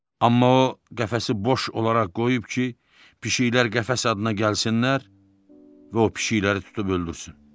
Amma o qəfəsi boş olaraq qoyub ki, pişiklər qəfəs adına gəlsinlər və o pişikləri tutub öldürsün.